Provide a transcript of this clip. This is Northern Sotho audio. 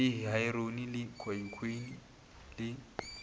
le heroine le khokheine le